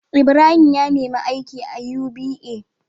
Ibrahim ya nemi aiki a UBA